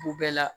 U bɛɛ la